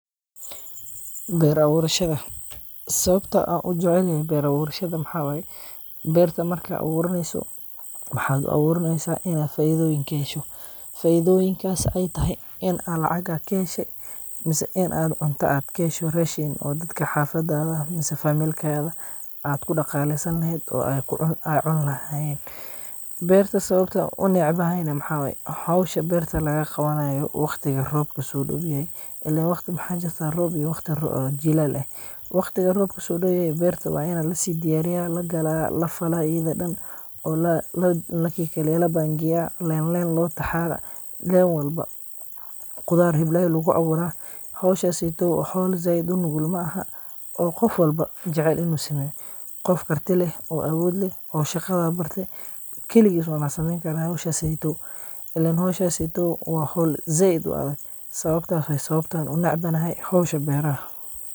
Ber awurashada, sawabta an ujecelyehe ber awurashada maxa waye, berta marka awuraneyso, mxad u awuraneysa inad faidoyin kahesho, faidoyinkas ay taxay, in aa lacag aa kaxeshe, mise in aad cunta aad kaxesho, rashiin oo dadka hafadadha mise family aad kudaqaleysan lehed, oo aad cun laxayen, berta sawabta unecbaxayna maxa waye, xowsha berta lagagawanayo wagtiga roobka sodowyaxay, iilen wagti maxa jirta roob iyo wagti roob jilaal eh, wagtiga roobka sodowyaxay berta ini lasidiyariya, lagala, lafala idaa daan oo kalekaleya, labangeya, lineline lotaxa, line walba, qudaar xeblay laguawura, xowshaseytow wa xowl zaid unugul maaxa, oo gofwalba jecel inu sameyo, gof karti leh oo awood leh, oo shagada barte, kiligis umba sameyn kara xowshaseytow, ilen xowshaseytow wa xowl zaid u adag, sawabtas way sawabta unecbanaxay xowsha beraxa.